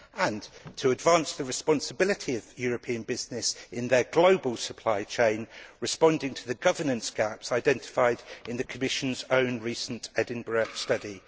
and to advance the responsibility of European businesses in their global supply chain, responding to the governance gaps identified in the Commission's own recent Edinburgh study.